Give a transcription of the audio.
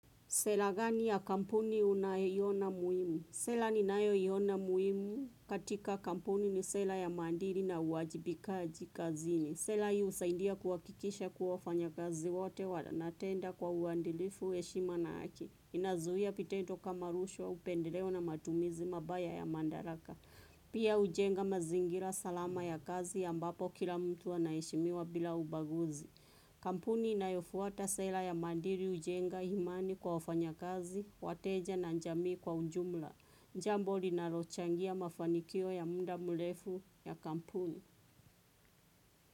Sera gani ya kampuni unayeiona muhimu? Sera ninayoiona muhimu katika kampuni, ni sera ya maadiri na uajibikaji kazini. Sera hii husaidia kuhakikisha kuwa wafanya kazi wote wanatenda kwa uadilifu heshima na haki. Inazuia vitendo kama rushwa, upendeleo, na matumizi mabaya ya madaraka. Pia hujenga mazingira salama ya kazi ya ambapo kila mtu anaheshimiwa bila ubaguzi. Kampuni inayofuata sera ya maadili hujenga imani kwa wafanya kazi, wateja, na jamii kwa ujumla. Jambo linalochangia mafanikio ya muda mrefu ya kampuni.